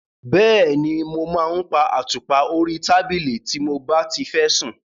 Bẹ́ẹ̀ni, mo máa ń pa àtùpà orí tábìlì tí mo bá ti fẹ́ sùn.